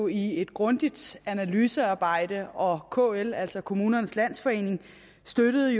i et grundigt analysearbejde og kl altså kommunernes landsforening støttede